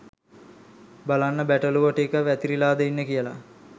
"බලන්න බැටළුවො ටික වැතිරිලාද ඉන්නෙ කියල"